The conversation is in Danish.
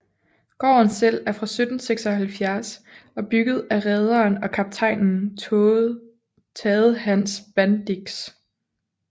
Gården selv er fra 1776 og er bygget af rederen og kaptajnen Tade Hans Bandix